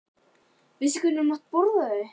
Jóhannes: Veistu hvenær þú mátt borða þau?